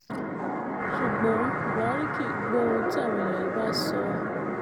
ṣùgbọ́n buhari kì í gbọ́ ohun tí àwọn èèyàn yìí bá sọ